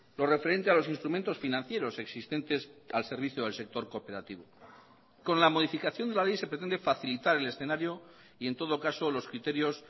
lo referente a los instrumentos financieros existentes al servicio del sector cooperativo con la modificación de la ley se pretende facilitar el escenario y en todo caso los criterios